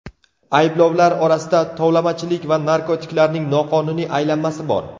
Ayblovlar orasida tovlamachilik va narkotiklarning noqonuniy aylanmasi bor.